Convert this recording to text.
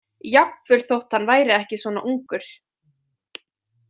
Jafnvel þótt hann væri ekki svona ungur.